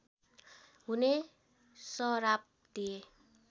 हुने सराप दिए